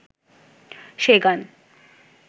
সে গান